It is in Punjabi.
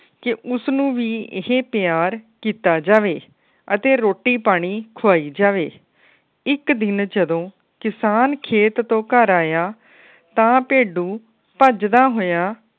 ਕੇ ਉਸਨੂੰ ਵੀ ਇਹ ਪਿਆਰ ਕੀਤਾ ਜਾਵੇ ਅਤੇ ਰੋਟੀ ਪਾਣੀ ਖਵਾਈ ਜਾਵੇ। ਇਕ ਦਿਨ ਜਦੋ ਕਿਸਾਨ ਖੇਤ ਤੋਂ ਘਰ ਆਇਆ ਤਾ ਭੇਡੂ ਭੱਜਦਾ ਹੋਇਆ।